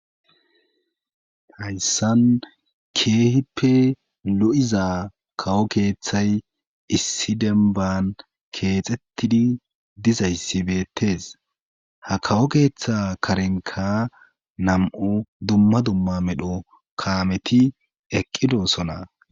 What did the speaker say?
Hayssan keehippe lo'iza kawo keeththay issi demban keexettidi dizayssibettes ha kawo keeththa karenka nam'o dumma dumma medho kaameti eqqidoosona.